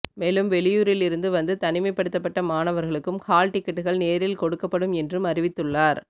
மெலும் வெளியூரிலிருந்து வந்து தனிமைப்படுத்தப்பட்ட மாணவர்களுக்கும் ஹால் டிக்கெட்டுகள் நேரில் கொடுக்கப்படும் என்றும் அறிவித்துள்ளார்